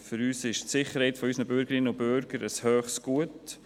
Für uns ist die Sicherheit unserer Bürgerinnen und Bürgern ein hohes Gut.